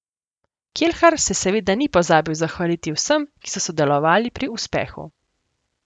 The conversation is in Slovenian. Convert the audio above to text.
Kelhar se seveda ni pozabil zahvaliti vsem, ki so sodelovali pri uspehu.